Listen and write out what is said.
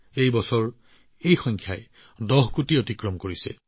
এইবাৰ এই সংখ্যাই ১০ কোটি অতিক্ৰম কৰিছে